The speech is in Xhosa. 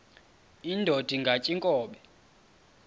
indod ingaty iinkobe